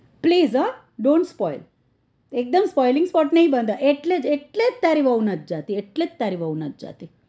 please હો dont spoil એકદમ spoiling sport નઈ બંધાય એટલે એટલે જ તારી વહુ નથ જાતી એટલે જ તારી વહુ નથ જાતી